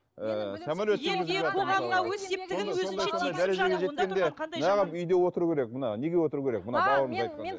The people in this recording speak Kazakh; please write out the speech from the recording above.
ііі самолет жүргізіп жатыр мысалға үйде отыру керек мына неге отыру керек мына